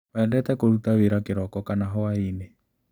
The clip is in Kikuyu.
Wendete kũruta wĩra kĩroko kana hwainĩ.